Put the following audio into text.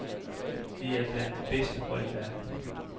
De er blandt de bedste hold i verden.